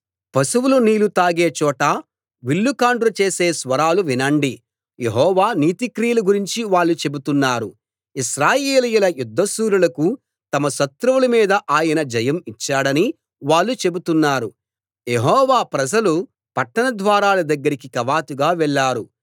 పశువులు నీళ్ళు తాగే చోట విల్లుకాండ్రు చేసే స్వరాలు వినండి యెహోవా నీతిక్రియల గురించి వాళ్ళు చెబుతున్నారు ఇశ్రాయేలీయుల యుద్ధశూరులకు తమ శత్రువుల మీద ఆయన జయం ఇచ్చాడని వాళ్ళు చెబుతున్నారు యెహోవా ప్రజలు పట్టణ ద్వారాల దగ్గరికి కవాతుగా వెళ్ళారు